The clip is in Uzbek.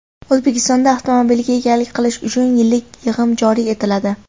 O‘zbekistonda avtomobilga egalik qilish uchun yillik yig‘im joriy etiladi.